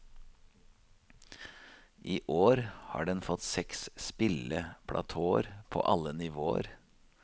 I år har den fått seks spilleplatåer på alle nivåer.